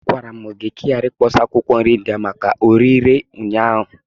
Agwara m gị ka ị ghara ikpọsa akwụkwọ nri ndị ahụ maka orịre ụnyaahụ!